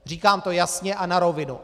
Říkám to jasně a na rovinu.